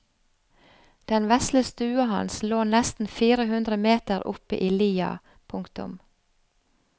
Den vesle stua hans lå nesten fire hundre meter oppe i lia. punktum